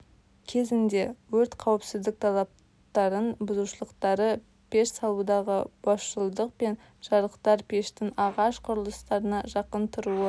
кезінде өрт қауіпіздік талапттарын бұзушылықтары пеш салудағы босшылдық пен жарықтар пештің ағаш құрылыстарына жақын тұруы